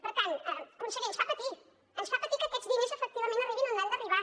per tant conseller ens fa patir ens fa patir que aquests diners efectivament arribin on han d’arribar